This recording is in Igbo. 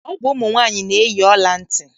Ọ bụ ụmụ nwaanyị na-eyi ọla ntị.